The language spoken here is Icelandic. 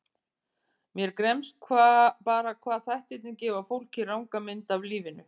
Mér gremst bara hvað þættirnir gefa fólki ranga mynd af lífinu.